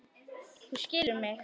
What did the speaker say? Þú skilur mig.